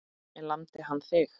En lamdi hann þig?